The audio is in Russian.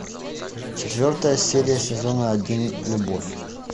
четвертая серия сезона один любовь